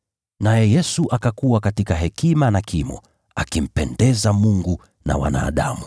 Naye Yesu akakua katika hekima na kimo, akimpendeza Mungu na wanadamu.